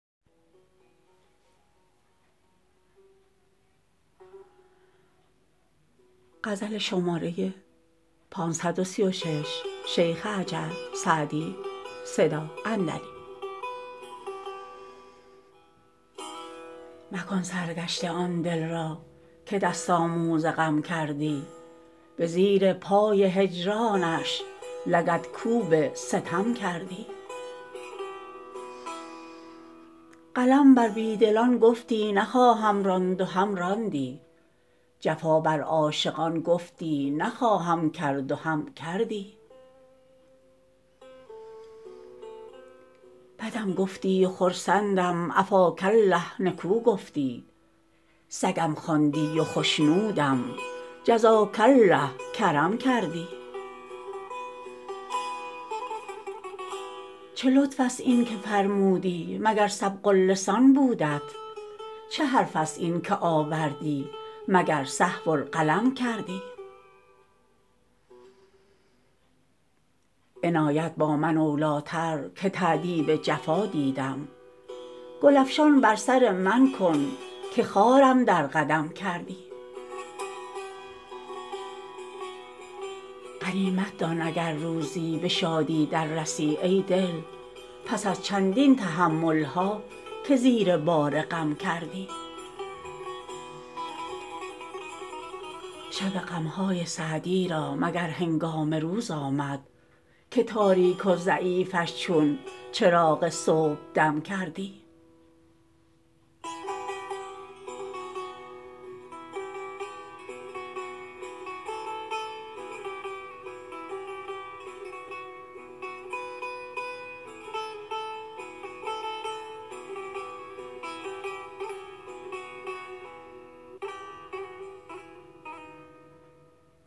مکن سرگشته آن دل را که دست آموز غم کردی به زیر پای هجرانش لگدکوب ستم کردی قلم بر بی دلان گفتی نخواهم راند و هم راندی جفا بر عاشقان گفتی نخواهم کرد و هم کردی بدم گفتی و خرسندم عفاک الله نکو گفتی سگم خواندی و خشنودم جزاک الله کرم کردی چه لطف است این که فرمودی مگر سبق اللسان بودت چه حرف است این که آوردی مگر سهو القلم کردی عنایت با من اولی تر که تأدیب جفا دیدم گل افشان بر سر من کن که خارم در قدم کردی غنیمت دان اگر روزی به شادی در رسی ای دل پس از چندین تحمل ها که زیر بار غم کردی شب غم های سعدی را مگر هنگام روز آمد که تاریک و ضعیفش چون چراغ صبحدم کردی